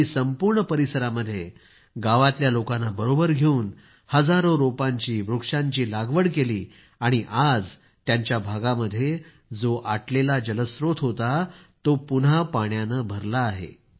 त्यांनी संपूर्ण परिसरामध्ये गावातल्या लोकांना बरोबर घेऊन हजारों रोपांचीवृक्षांची लागवड केली आणि आज त्यांच्या भागामध्ये जो आटलेला जलस्त्रोत होता तो आता पुन्हा पाण्यानं भरला आहे